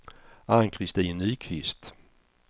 Ann-Kristin Nyqvist